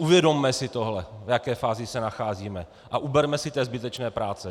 Uvědomme si tohle, v jaké fázi se nacházíme, a uberme si té zbytečné práce.